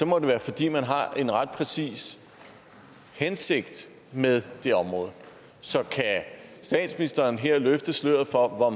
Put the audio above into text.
må være fordi man har en ret præcis hensigt med det område så kan statsministeren her løfte sløret for hvor